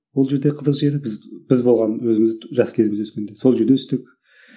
бұл жерде қызық жері біз біз болған өзіміз жас кезімізде өскенде сол жерде өстік